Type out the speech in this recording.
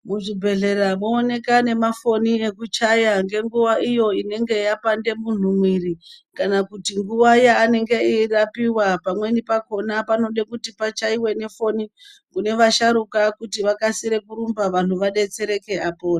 Muzvibhadhlera mwooneka nemafoni ekuchaya ngenguwa iyo inenge yapande munhu mwiiri kana kuti nguwa yaanenge eirapiwa pamweni pakhona panode kuti pachaiwe nefoni kune vasharuka kuti vakasire kurumba vanhu vadetsereke apone.